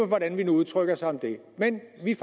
hvordan vi udtrykker os om det men vi